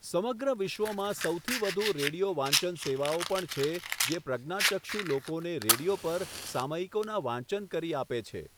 સમગ્ર વિશ્વમાં સૌથી વધુ રેડિયો વાંચન સેવાઓ પણ છે જે પ્રજ્ઞાચક્ષુ લોકોને રેડિયો પર સામયિકોના વાંચન કરી આપે છે.